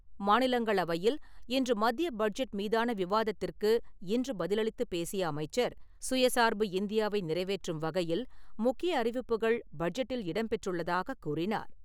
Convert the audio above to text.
மாநிலங்களவையில் இன்று மத்திய பட்ஜெட் மீதான விவாதத்திற்கு இன்று பதிலளித்து பேசிய அமைச்சர், சுயச் சார்பு இந்தியாவை நிறைவேற்றும் வகையில் முக்கிய அறிவிப்புகள் பட்ஜெட்டில் இடம் பெற்றுள்ளதாகக் கூறினார்.